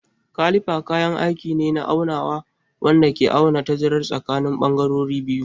Kalifa kayan aiki ne na aunawa wanda ke auna tazarar tsakanin bangarorin biyu.